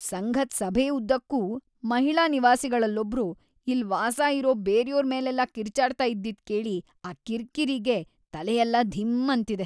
ಸಂಘದ್ ಸಭೆ ಉದ್ದಕ್ಕೂ ಮಹಿಳಾ ನಿವಾಸಿಗಳಲ್ಲೊಬ್ರು ಇಲ್ಲ್‌ ವಾಸ ಇರೋ ಬೇರ್ಯೋರ್‌ ಮೇಲೆಲ್ಲ ಕಿರ್ಚಾಡ್ತಾ ಇದ್ದಿದ್‌ ಕೇಳಿ ಆ ಕಿರ್ಕಿರಿಗೆ ತಲೆಯೆಲ್ಲ ಧಿಂ ಅಂತಿದೆ.